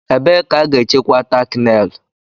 ebe ka a ga-echekwa tákị nélù